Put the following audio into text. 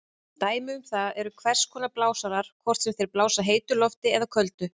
Dæmi um það eru hvers konar blásarar, hvort sem þeir blása heitu lofti eða köldu.